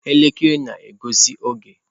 Elekere na-egosi oge.